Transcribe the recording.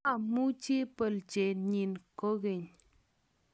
mamuchi bolchet nyin kokeny